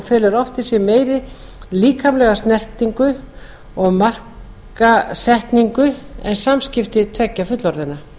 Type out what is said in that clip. í sér meiri líkamlega snertingu og markasetningu en samskipti tveggja fullorðinna